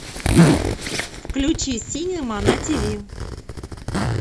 включи синема на тв